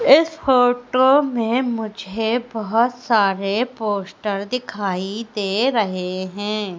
इस फोटो में मुझे बहोत सारे पोस्टर दिखाई दे रहे हैं।